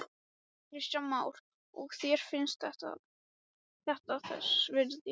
Kristján Már: Og þér finnst þetta þess virði?